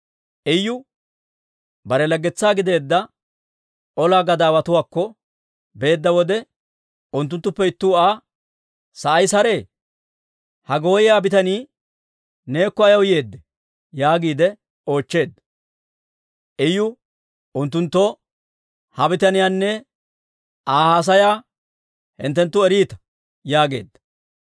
Iyu bare laggetsaa gideedda olaa gadaawatuwaakko beedda wode, unttuttuppe ittuu Aa, «Sa'ay saree? Ha gooyiyaa bitanii neekko ayaw yeeddee?» yaagiide oochcheedda. Iyu unttunttoo, «Ha bitaniyaanne Aa haasayaanne hinttenttu eriita» yaageedda.